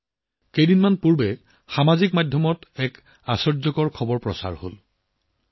কিছুদিন আগতে ছচিয়েল মিডিয়াত এটা আচৰিত উন্মাদনা দেখা দিছিল